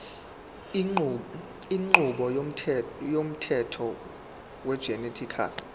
inqubo yomthetho wegenetically